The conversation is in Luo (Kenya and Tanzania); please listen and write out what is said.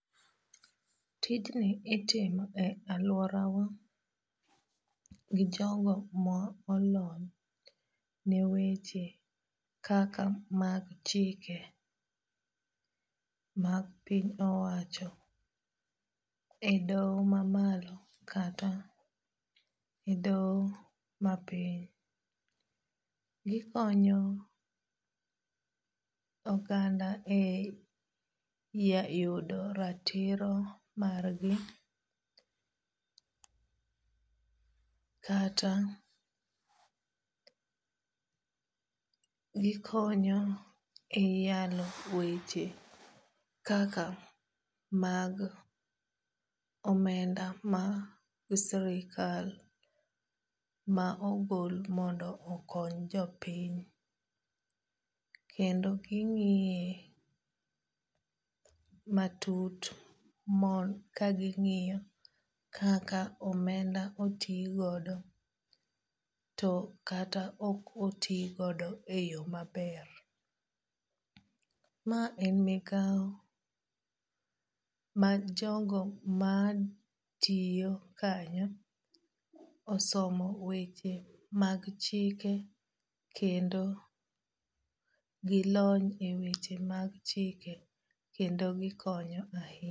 Tijni itime e aluora wa gi jogo molony ne weche kaka mag chike mag piny owacho e doho mamalo kata e doho mapiny. Gikonyo oganda e yudo ratiro margi kata gikonyo e yalo weche kaka mag omenda ma sirkal ma ogol mondo okony jopiny. Kendo ging'iye matut mon ka ging'iyo kaka omenda otigodo to kata ok otigodo e yo maber. Ma en migawo mag jogo matiyo kanyo osomo weche mag chike kendo gilony e weche mag chike kendo gikonyo ahinya.